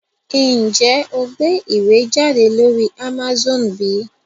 Njé o gbé ìwé jáde lórí Amazone bí?